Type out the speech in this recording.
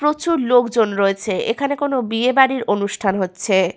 প্রচুর লোকজন রয়েছে এখানে কোন বিয়ে বাড়ির অনুষ্ঠান হচ্ছে-এ।